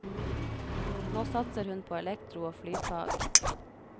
Nå satser hun på elektro og flyfag.